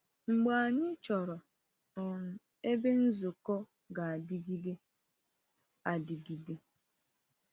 Ma anyị chọrọ um ebe nzukọ ga-adịgide adịgide.